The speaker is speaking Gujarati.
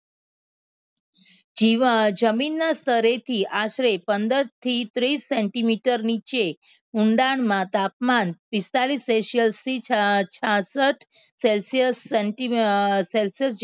જીવ જમીનના સ્થળેથી આશરે પંદર થી ત્રીસ સેન્ટીમીટર નીચે ઊંડાણમાં તાપમાન પિસ્તાલીસ celsius થી છા છાસઠ celsius સેન્ટી અહ જેટલું આદર્શ જણાવાય છે.